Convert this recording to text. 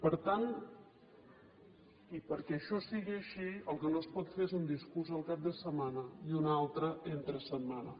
per tant i perquè això sigui així el que no es pot fer és un discurs el cap de setmana i un altre entre setmana